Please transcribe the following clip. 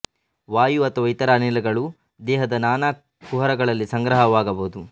ವಾಯು ಅಥವಾ ಇತರ ಅನಿಲಗಳು ದೇಹದ ನಾನಾ ಕುಹರಗಳಲ್ಲಿ ಸಂಗ್ರಹವಾಗಬಹುದು